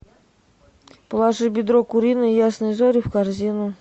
положи бедро куриное ясные зори в корзину